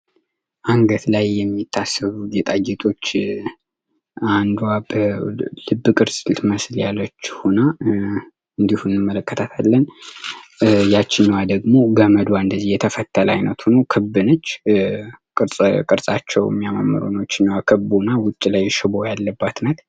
አንገት ላይ የሚታሰሩ ጌጣጌጦች አንዱአለም ፍቅር ልትመስል ያለች ሆነ እንመለከታለን ያቺኛዋ ደግሞ እንደዚህ የተፈተነ አይነት ሆኖ ክብነች ቅርጻቸው የሚያማምሩ ሆኖ መሀል ላይ ሽቦ ያላት ናት።